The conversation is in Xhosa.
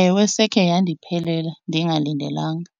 Ewe, sekhe yandiphelela ndingalindelanga.